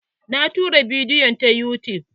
Na tura bidiyo ta yutub.